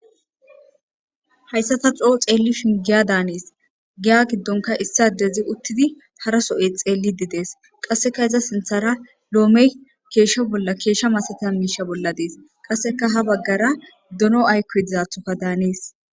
Hayssa ta coo xeelli shingiya daanees giya giddonka issadezi uttidi haraso7e xeelli didees qasseka iza sinthara loomey keeshsho bolla keeshsha masata miisha bolla dees qasseka ha baggara duno ayko dizathoka daanees.